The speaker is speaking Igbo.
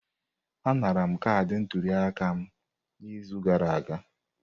Anara m kaadị ntuli aka m n'izu gara aga.